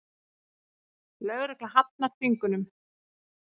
Lögregla hafnar þvingunum